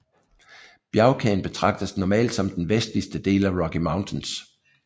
Bjergkæden betragtes normalt som den vestligste del af Rocky Mountains